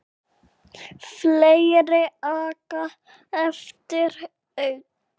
Fleiri aka eftir einn.